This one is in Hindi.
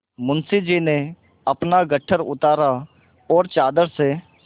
मुंशी जी ने अपना गट्ठर उतारा और चादर से